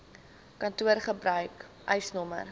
kantoor gebruik eisnr